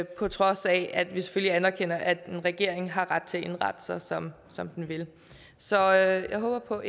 på trods af at vi selvfølgelig anerkender at en regering har ret til at indrette sig som som den vil så jeg håber